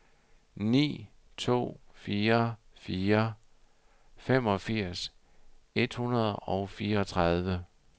ni to fire fire femogfirs et hundrede og fireogtredive